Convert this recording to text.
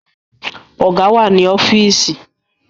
Ọ̀gá wà ní ọ́fíìsì